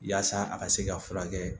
Yaasa a ka se ka furakɛ